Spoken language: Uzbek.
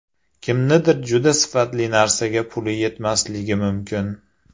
Kimningdir juda sifatli narsaga puli yetmasligi mumkin.